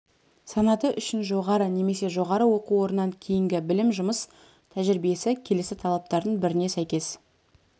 санаты үшін жоғары немесе жоғары оқу орнынан кейінгі білім жұмыс тәжірибесі келесі талаптардың біріне сәйкес